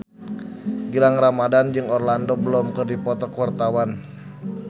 Gilang Ramadan jeung Orlando Bloom keur dipoto ku wartawan